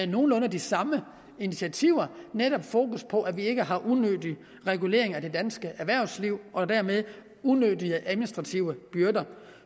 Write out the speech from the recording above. nogenlunde de samme initiativer netop fokus på at vi ikke har unødig regulering af det danske erhvervsliv og dermed unødige administrative byrder